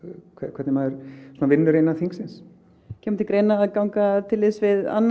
hvernig maður vinnur innan þingsins kemur til greina að ganga til liðs við annan